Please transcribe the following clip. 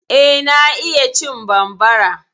Eh, na iya cin bambara.